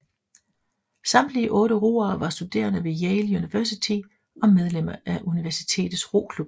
Samtlige otte roere var studerende ved Yale University og medlemmer af universitets roklub